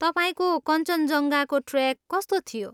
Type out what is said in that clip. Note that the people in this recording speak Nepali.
तपाईँको कञ्चनजङ्घाको ट्रेक कस्तो थियो?